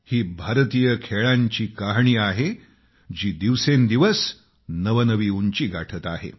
ही भारतीय खेळांची कहाणी आहे जी दिवसेंदिवस नवनवी उंची गाठत आहे